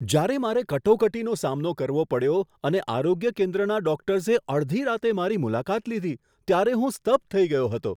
જ્યારે મારે કટોકટીનો સામનો કરવો પડ્યો અને આરોગ્ય કેન્દ્રના ડોકટર્સે અડધી રાત્રે મારી મુલાકાત લીધી ત્યારે હું સ્તબ્ધ થઈ ગયો હતો.